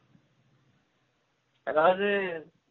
அதாது